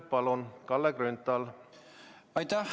Palun, Kalle Grünthal!